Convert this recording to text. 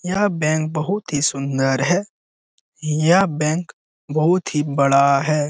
यह बैंक बहुत ही सुंदर है। यह बैंक बहुत ही बड़ा है ।